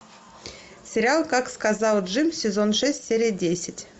сериал как сказал джим сезон шесть серия десять